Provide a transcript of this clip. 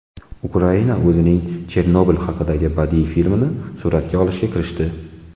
Ukraina o‘zining Chernobil haqida badiiy filmini suratga olishga kirishdi .